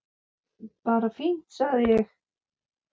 Bara fínt sagði ég.